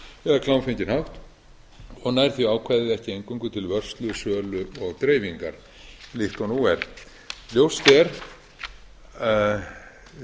eða klámfenginn hátt og nær því ákvæðið ekki eingöngu til vörslu sölu og dreifingar líkt og nú er